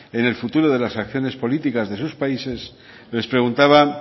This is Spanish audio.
en el futuro de las acciones políticas de sus países les preguntaba